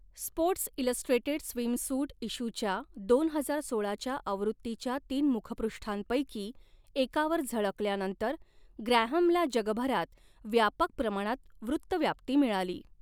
Sports illustrated swimsuit इश्यूच्या दोन हजार सोळाच्या आवृत्तीच्या तीन मुखपृष्ठांपैकी एकावर झळकल्यानंतर ग्रॅहमला जगभरात व्यापक प्रमाणात वृत्तव्याप्ती मिळाली.